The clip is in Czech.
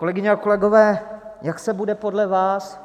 Kolegyně a kolegové, jak se bude podle vás